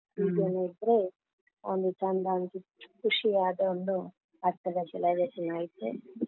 ಹೀಗೆನೇ ಇದ್ರೆ ಒಂದು ಚಂದ ಅನ್ಸಿ, ಖುಷಿಯಾದ ಒಂದು birthday celebration ಆಯ್ತು.